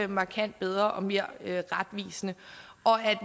markant bedre og mere retvisende